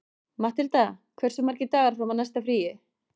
Matthilda, hversu margir dagar fram að næsta fríi?